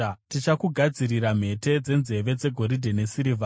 Tichakugadzirira mhete dzenzeve dzegoridhe nesirivha.